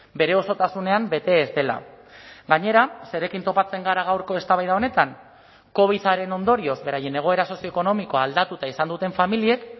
bere osotasunean bete ez dela gainera zerekin topatzen gara gaurko eztabaida honetan covidaren ondorioz beraien egoera sozioekonomikoa aldatuta izan duten familiek